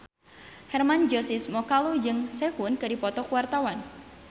Hermann Josis Mokalu jeung Sehun keur dipoto ku wartawan